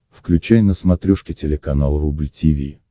включай на смотрешке телеканал рубль ти ви